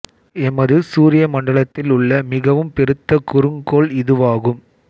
எமது சூரிய மண்டலத்தில் உள்ள மிகவும் பெருத்த குறுங்க் கோள் இதுவாகும்